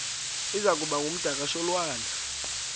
iza kuba ngumdakasholwana